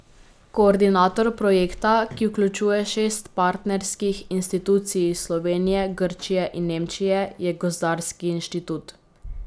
Koordinator projekta, ki vključuje šest partnerskih institucij iz Slovenije, Grčije in Nemčije, je gozdarski inštitut.